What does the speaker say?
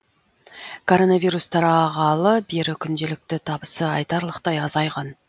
коронавирус тарағалы бері күнделікті табысы айтарлықтай азайған